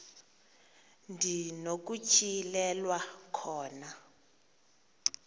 ndi nokutyhilelwa khona